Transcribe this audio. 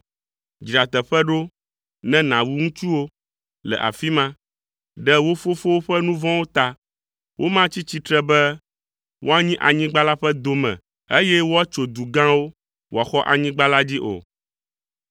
Dzra teƒe ɖo ne nàwu ŋutsuwo le afi ma, ɖe wo fofowo ƒe nu vɔ̃wo ta. Womatsi tsitre be woanyi anyigba la ƒe dome, eye woatso du gãwo, wòaxɔ anyigba la dzi o.